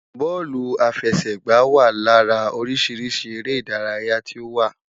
Bóòlù àfẹsẹ̀gbá wa lára oríṣi eré ìdárayá tí ó wà.